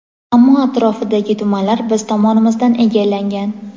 ammo atrofidagi tumanlar biz tomonimizdan egallangan.